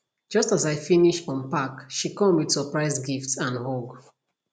just as i finish unpack she come with surprise gift and hug